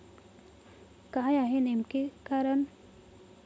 काय आहे नेमके कारण?